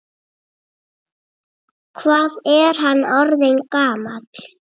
Hvað er hann orðinn gamall?